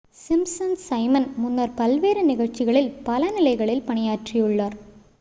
Simpson's Simon முன்னர் பல்வேறு நிகழ்ச்சிகளில் பல நிலைகளில் பணியாற்றியுள்ளார்